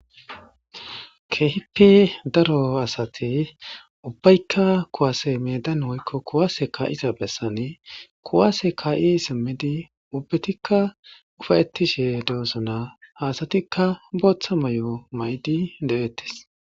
Kehipi daro asati ubbaykka kuwase medan woykko kuwaase ka7iza bessani kuwaase kaa7i simmidi ubbetikka ufayettishe doossona haasatikka booththa may7o may7di de7ettes